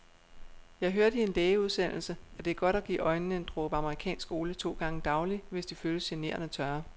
Jeg hørte i en lægeudsendelse, at det er godt at give øjnene en dråbe amerikansk olie to gange daglig, hvis de føles generende tørre.